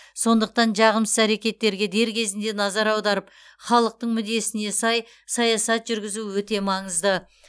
сондықтан жағымсыз әрекеттерге дер кезінде назар аударып халықтың мүддесіне сай саясат жүргізу өте маңызды